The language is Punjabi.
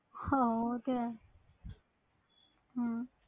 ਹਾਂ ਉਹ ਤੇ ਹੈ ਹਮ